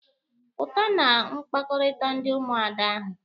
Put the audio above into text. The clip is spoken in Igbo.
Pụta na mkpakọrịta ndị Ụmụada ahụ!